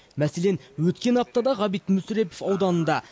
мәселен өткен аптада ғабит мүсірепов ауданында